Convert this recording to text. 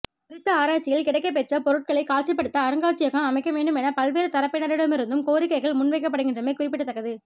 குறித்த ஆராய்ச்சியில் கிடைக்கப்பெற்ற பொருட்களை காட்சிப்படுத்த அருங்காட்சியகம் அமைக்கவேண்டும் என பல்வேறு தரப்பினரிடம் இருந்தும் கோரிக்கைகள் முன்வைக்கப்படுகின்றமை குறிப்பிடத்தக்கது